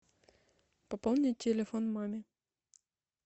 пополнить телефон маме